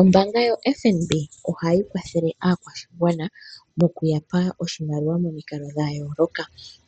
Ombaanga yoFNB ohayi kwathele aakwashigwana mokuyapa oshimaliwa momikalo dha yooloka.